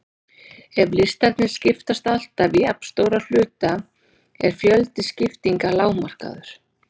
Ef listarnir skiptast alltaf í jafnstóra hluta er fjöldi skiptinga lágmarkaður.